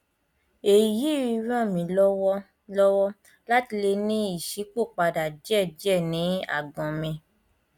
èyí ràn mí lọwọ lọwọ láti lè ní ìṣípòpadà díẹ díẹ ní àgbọn mi